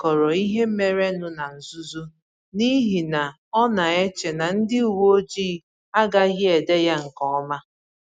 O dekọrọ ihe mere nụ ná nzuzo n’ihi na ọ na-eche na ndị uwe ojii agaghị ede ya nke ọma.